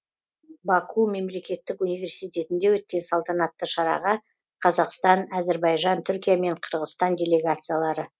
баку мемлекеттік университетінде өткен салтанатты шараға қазақстан әзірбайжан түркия мен қырғызстан делегациялары